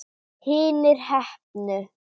Hinir heppnu?